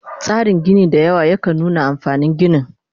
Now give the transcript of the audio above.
Tsarin Gini sau dayawa yakan nuna amfanin ginin